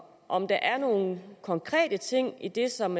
om der er nogle konkrete ting i det som